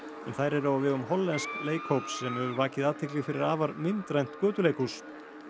en þær eru á vegum hollensks leikhóps sem hefur vakið athygli fyrir afar myndrænt götuleikhús